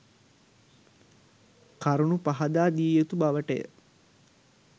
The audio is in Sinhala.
කරුණු පහදා දිය යුතු බව ට ය.